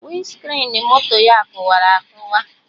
Winscrin moto ya kụwara akụwa